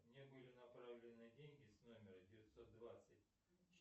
мне были направлены деньги с номера девятьсот двадцать